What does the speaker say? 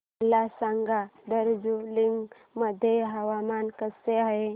मला सांगा दार्जिलिंग मध्ये हवामान कसे आहे